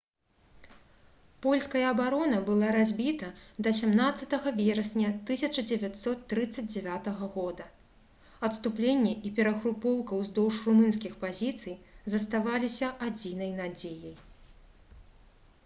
польская абарона была разбіта да 17 верасня 1939 г адступленне і перагрупоўка ўздоўж румынскіх пазіцый заставаліся адзінай надзеяй